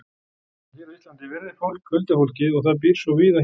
En hér á Íslandi virðir fólk huldufólkið og það býr svo víða hér.